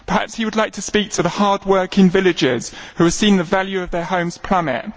Perhaps he would like to speak to the hardworking villagers who have seen the value of their homes plummet.